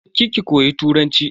Je ki ki koyi Turanci.